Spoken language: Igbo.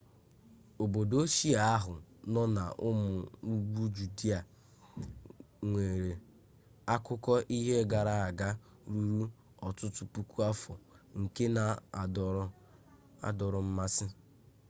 obodo ochie ahụ nọ n'ụmụ ugwu judịa nwere akụkọ ihe gara aga ruru ọtụtụ puku afọ nke na-adọrọ mmasị